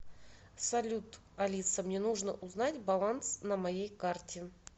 салют алиса мне нужно узнать баланс на моей карте